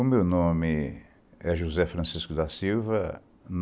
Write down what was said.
O meu nome é José Francisco da Silva.